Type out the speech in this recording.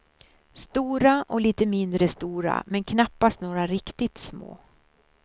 Stora och lite mindre stora men knappast några riktigt små.